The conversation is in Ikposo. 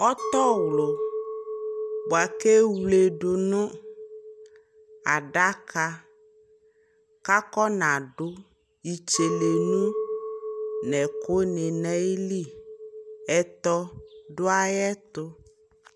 Ɔtɔ wlu bua kɛ wledu nu adaka kakɔ na du itselenu nɛ ku ni na yi liƐtɔ du ayɛ tu